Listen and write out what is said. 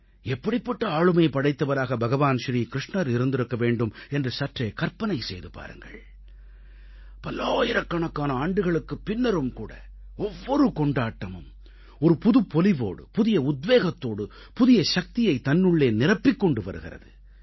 எப்படிப்பட்ட ஆளுமை படைத்தவராக பகவான் ஸ்ரீ க்ருஷ்ணர் இருந்திருக்க வேண்டும் என்று சற்றே கற்பனை செய்து பாருங்கள் பல்லாயிரக்கணக்கான ஆண்டுகளுக்குப் பின்னரும் கூட ஒவ்வொரு கொண்டாட்டமும் ஒரு புதுப்பொலிவோடு புதிய உத்வேகத்தோடு புதிய சக்தியை தன்னுள்ளே நிரப்பிக் கொண்டு வருகிறது